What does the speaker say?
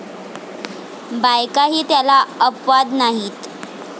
बायकाही त्याला अपवाद नाहीत.